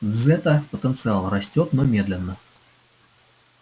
дзэта-потенциал растёт но медленно